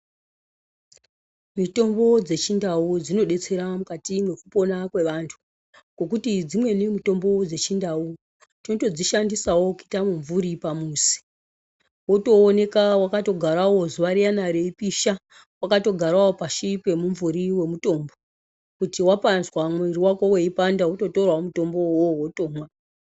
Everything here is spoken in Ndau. Mitombo dzechindau dzinodetsera mukati mwekupona kwevantu. Ngekuti dzimweni mutombo dzechindau, tinotodzi shandisawo kuita mumvuri pamuzi. Wotooneka waka togarawo zuwa riyana reipisha, wakatogarawo pashi pemumvuri wemutombo. Kuti wapazwa mwiri wako weipanda, wototorawo mutombowo uwowo wotomwa.